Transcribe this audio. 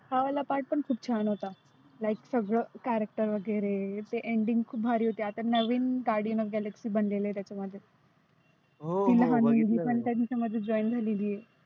हा वाला part पण खुप छान होता. like सगळ character वगैरे. ते ending खुप भारी होती. आता नविन guardian of galaxy बनलेलं आहे त्याच्यामध्ये. हो ती लहान मुलगी त्यांच्या सोबतच join झालेली आहे.